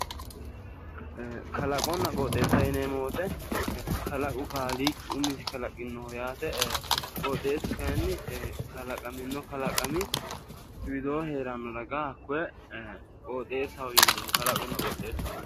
Kalaqomna qoxeessa yineemo woyte kalaqo kaaliqi umisinni kalaqino gara kalaqote yineemo qoxeessu kayinni hakkoye kalaqamino kalaqami widoonni heeranno kalaqino qooxeesaho